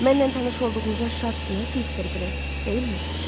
Mənlə tanış olduğunuza şadsınız, Mister Grey, deyilmi?